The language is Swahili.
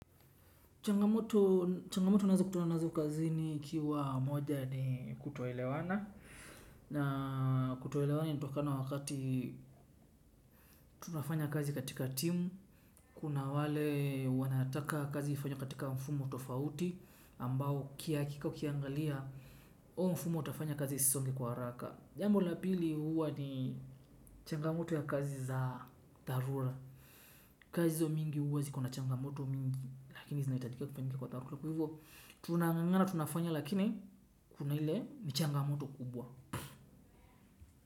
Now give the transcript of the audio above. Changamoto ninazo kutana nazo kazini ikiwa moja ni kutoelewana. Na kutoelewana inatokana wakati tunafanya kazi katika timu. Kuna wale wanataka kazi ifanyike katika mfumo tofauti ambao hakika ukiangalia huo mfumo utafanya kazi isisonge kwa haraka. Jambo la pili huwa ni changamoto ya kazi za tarura. Kazi hizo nyingi huwa ziko na changamoto nyingi. Lakini zinahitajika kufanyika kwa taharuku. Kwa hivyo tunang'ang'ana tunafanya lakini kuna ile changamoto kubwa.